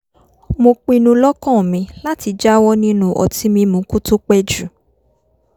mo pinnu lọ́kàn mi láti jáwọ́ nínú ọtí mímu kó tó pẹ́ jù